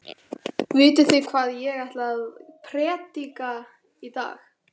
Vitið þið hvað ég ætla að prédika í dag?